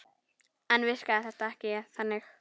Enda virkaði þetta ekki þannig.